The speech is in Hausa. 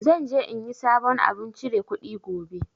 Zan je in yi sabon abun chire kuɗi gobe